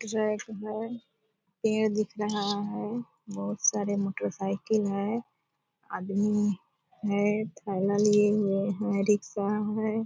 Track है पेड़ दिख रहा है बहुत सारे मोटरसाइकिल हैं आदमी है थैला लिए हुए है रिक्शा है ।